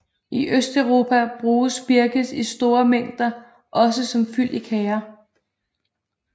I Østeuropa bruges birkes i store mængder også som fyld i kager